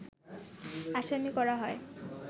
আসামি করা হয়